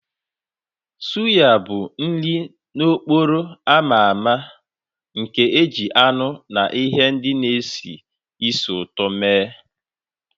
Suya bụ nri n'okporo ámá a ma ama nke e ji anụ na ihe ndị na-esi ísì ụtọ mee